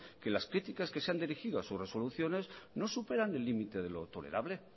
que las críticas que se han dirigido a sus resoluciones no superan el límite de lo tolerable